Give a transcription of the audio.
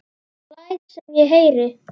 Læt sem ég heyri.